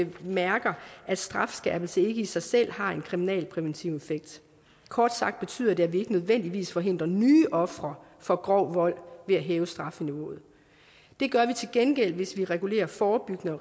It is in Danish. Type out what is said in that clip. bemærker at strafskærpelse ikke i sig selv har en kriminalpræventiv effekt kort sagt betyder det at vi ikke nødvendigvis forhindrer nye ofre for grov vold ved at hæve strafniveauet det gør vi til gengæld hvis vi regulerer forebyggende og